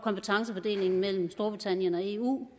kompetencefordelingen mellem storbritannien og eu